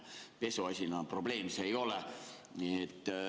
Pesumasina probleem see ei ole.